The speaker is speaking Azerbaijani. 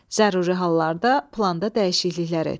Zəruri hallarda planda dəyişikliklər et.